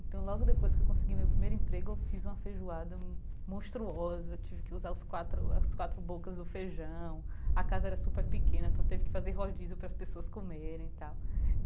Então, logo depois que eu consegui meu primeiro emprego, eu fiz uma feijoada monstruosa, tive que usar os quatro as quatro bocas do feijão, a casa era super pequena, então eu teve que fazer rodízio para as pessoas comerem e tal.